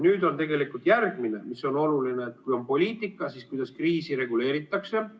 Nüüd on järgmine oluline asi, et kui on poliitika, siis kuidas kriisi reguleeritakse.